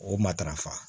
O matarafa